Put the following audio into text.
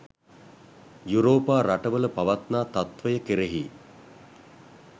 යුරෝපා රටවල පවත්නා තත්ත්වය කෙරෙහි